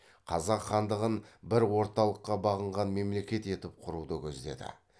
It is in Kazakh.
қазақ хандығын бір орталыққа бағынған мемлекет етіп құруды көздеді